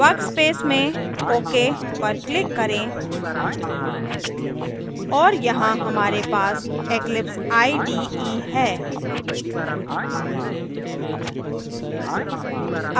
workspace में ok पर click करें और यहाँ हमारे पास eclipse ide है